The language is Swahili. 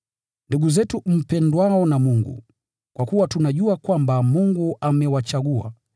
Ndugu zetu mpendwao na Mungu, kwa kuwa tunajua kwamba Mungu amewachagua,